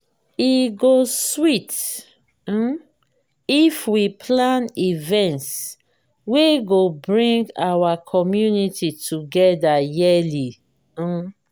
e go sweet um if we plan events wey go bring our community together yearly. um